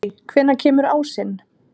Eldey, hvenær kemur ásinn?